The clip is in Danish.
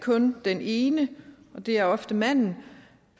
kun den ene det er ofte manden